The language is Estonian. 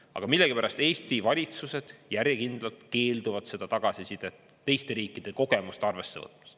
Aga millegipärast Eesti valitsused järjekindlalt keelduvad seda tagasisidet, teiste riikide kogemust arvesse võtmast.